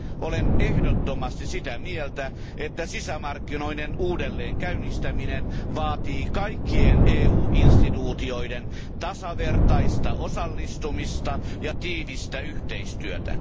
Olen ehdottomasti sitä mieltä, että sisämarkkinoiden uudelleenkäynnistäminen vaatii kaikkien EUn instituutioiden tasavertaista osallistumista ja tiivistä yhteistyötä.